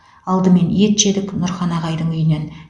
алдымен ет жедік нұрхан ағайдың үйінен